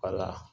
Wala